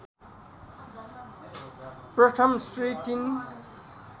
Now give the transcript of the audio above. प्रथम श्री ३